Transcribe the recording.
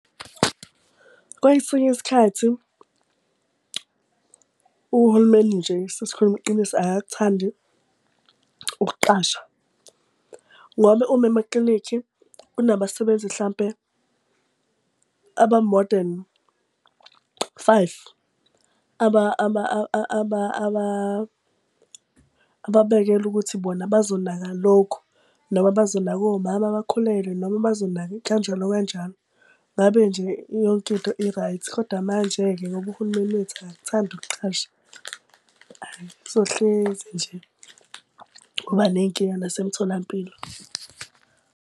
Kwesinye isikhathi uhulumeni nje sesikhuluma iqiniso akakuthandi ukuqasha ngoba uma emaklinikhi kunabasebenzi hlampe aba-more than five ababekelwe ukuthi bona bazonaka lokhu, noma bazonaka omama abakhulelwe noma abazonaka kanjalo kanjalo. Ngabe nje yonke into i-right. Kodwa manje-ke ngoba uhulumeni wethu akakuthandi ukuqasha. Hayi kuzohlezi nje kuba ney'nkinga nasemtholampilo.